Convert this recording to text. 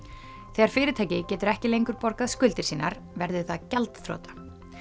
þegar fyrirtæki getur ekki lengur borgað skuldir sínar verður það gjaldþrota